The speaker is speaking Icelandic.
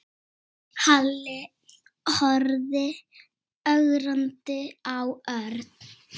Halli horfði ögrandi á Örn.